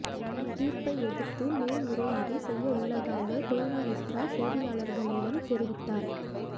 இத்தீர்ப்பை எதிர்த்து மேல் முறையீடு செய்ய உள்ளதாக கொய்னா மித்ரா செய்தியாளர்களிடம் தெரிவித்தார்